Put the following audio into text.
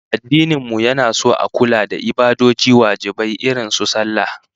Addinin mu yana son a kula da ibadoji wajibai irin su sallah